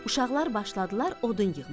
Uşaqlar başladılar odun yığmağa.